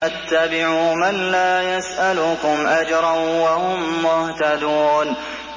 اتَّبِعُوا مَن لَّا يَسْأَلُكُمْ أَجْرًا وَهُم مُّهْتَدُونَ